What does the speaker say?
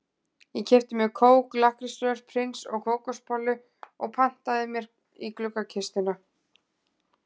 Ég keypti mér kók, lakkrísrör, prins og kókosbollu og plantaði mér í gluggakistuna.